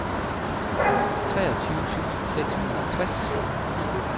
treogtyve tusind seks hundrede og tres